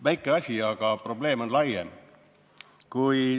Väike asi, aga probleem on laiem.